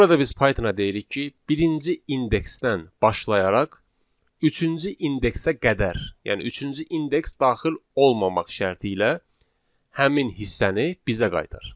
Burada biz Pythona deyirik ki, birinci indeksdən başlayaraq üçüncü indeksə qədər, yəni üçüncü indeks daxil olmamaq şərti ilə həmin hissəni bizə qaytar.